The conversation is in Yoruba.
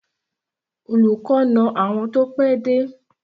Olùkọ́ na àwọn tí wọ́n pẹ́ dé.